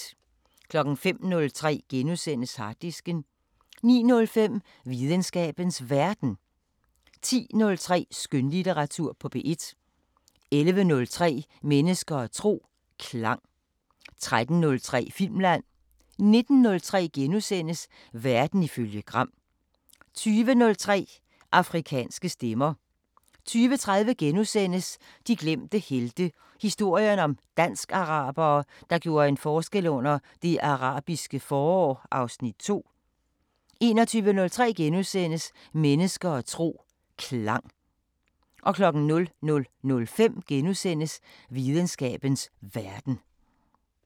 05:03: Harddisken * 09:05: Videnskabens Verden 10:03: Skønlitteratur på P1 11:03: Mennesker og tro: Klang 13:03: Filmland 19:03: Verden ifølge Gram * 20:03: Afrikanske Stemmer 20:30: De glemte helte – historien om dansk-arabere, der gjorde en forskel under Det Arabiske forår (Afs. 2)* 21:03: Mennesker og tro: Klang * 00:05: Videnskabens Verden *